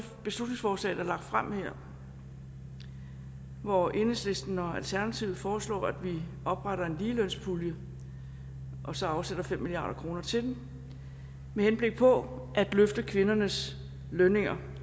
beslutningsforslag er lagt frem hvori enhedslisten og alternativet foreslår at vi opretter en ligelønspulje og så afsætter fem milliard kroner til den med henblik på at løfte kvindernes lønninger